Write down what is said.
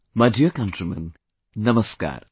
My dear countrymen, Namaskar